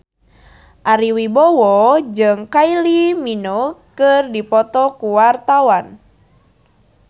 Ari Wibowo jeung Kylie Minogue keur dipoto ku wartawan